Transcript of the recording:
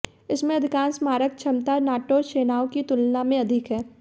इसमें अधिकांश मारक क्षमता नाटो सेनाओं की तुलना में अधिक है